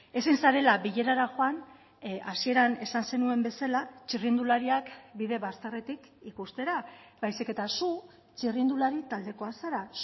ezin zarela bilerara joan hasieran esan zenuen bezala txirrindulariak bide bazterretik ikustera baizik eta zu txirrindulari taldekoa zara